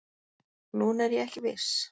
En núna er ég ekki viss